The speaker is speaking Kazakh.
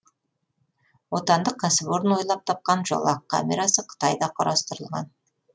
отандық кәсіпорын ойлап тапқан жолақ камерасы қытайда құрастарылған